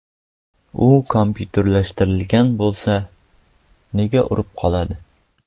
U kompyuterlashtirilgan bo‘lsa... Nega urib qoladi?